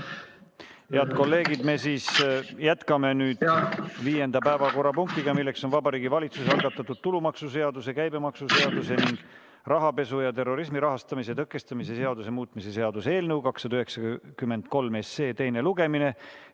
Head kolleegid, me siis jätkame nüüd viienda päevakorrapunktiga, milleks on Vabariigi Valitsuse algatatud tulumaksuseaduse, käibemaksuseaduse ning rahapesu ja terrorismi rahastamise tõkestamise seaduse muutmise seaduse eelnõu 293 teine lugemine.